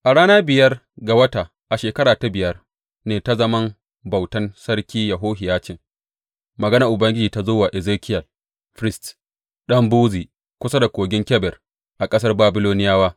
A rana biyar ga wata, a shekara ta biyar ne ta zaman bautan Sarki Yehohiyacin, maganar Ubangiji ta zo wa Ezekiyel firist, ɗan Buzi, kusa da Kogin Kebar a ƙasar Babiloniyawa.